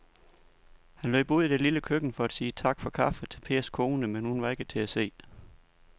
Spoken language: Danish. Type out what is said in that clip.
Han løb ud i det lille køkken for at sige tak for kaffe til Pers kone, men hun var ikke til at se.